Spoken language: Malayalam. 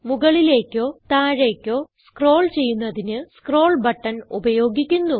മുകളിലേക്കോ താഴേക്കോ സ്ക്രോൾ ചെയ്യുന്നതിന് സ്ക്രോൾ ബട്ടൺ ഉപയോഗിക്കുന്നു